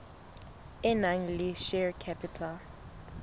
e nang le share capital